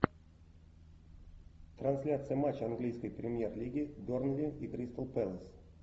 трансляция матча английской премьер лиги бернли и кристал пэлас